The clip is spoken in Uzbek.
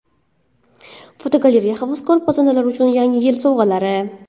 Fotogalereya: Havaskor pazandalar uchun Yangi yil sovg‘alari.